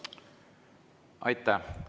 Aitäh!